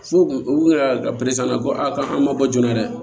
F'u u ka ko a kan man bɔ joona dɛ